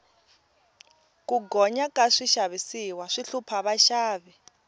ku gonya ka swixavisiwa swi hlupha vaxavi